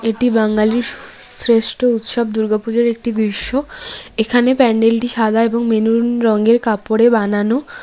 এটি বাঙালির শ্রেষ্ঠ উৎসব দুর্গাপুজোর একটি দৃশ্য এখানে প্যান্ডেলটি সাদা এবং মেনুন রঙের কাপড়ে বানানো।